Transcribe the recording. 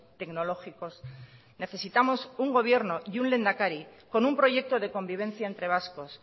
tecnológicos necesitamos un gobierno y un lehendakari con un proyecto de convivencia entre vascos